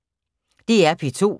DR P2